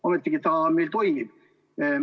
Ometigi meil selline erakond toimib.